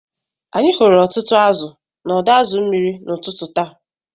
Anyị hụrụ ọtụtụ azụ̀ n’ọdọ azu mmiri n’ụtụtụ taa